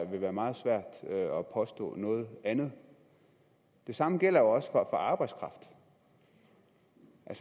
vil være meget svært at påstå noget andet det samme gælder også for arbejdskraft